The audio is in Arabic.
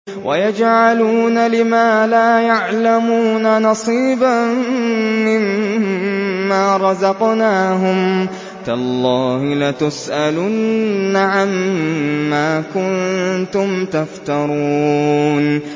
وَيَجْعَلُونَ لِمَا لَا يَعْلَمُونَ نَصِيبًا مِّمَّا رَزَقْنَاهُمْ ۗ تَاللَّهِ لَتُسْأَلُنَّ عَمَّا كُنتُمْ تَفْتَرُونَ